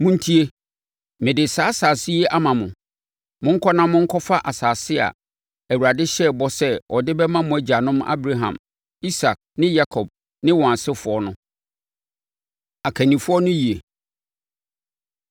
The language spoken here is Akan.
Montie! Mede saa asase yi ama mo. Monkɔ na monkɔfa asase a Awurade hyɛɛ bɔ sɛ ɔde bɛma mo agyanom Abraham, Isak ne Yakob ne wɔn asefoɔ no.” Akannifoɔ No Yie